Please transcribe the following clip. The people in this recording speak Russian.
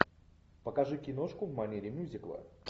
покажи киношку в манере мюзикла